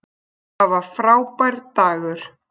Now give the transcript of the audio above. Það var frábær dagur.